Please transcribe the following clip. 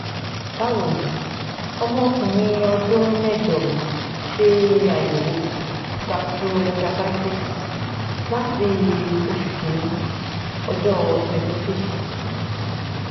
bawoni omo okunrin odun mejo mi se ayewo gastroenteritis lati osu kini ojo twenty five th